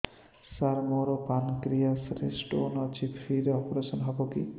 ସାର ମୋର ପାନକ୍ରିଆସ ରେ ସ୍ଟୋନ ଅଛି ଫ୍ରି ରେ ଅପେରସନ ହେବ କି